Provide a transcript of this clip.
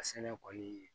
A sɛnɛ kɔni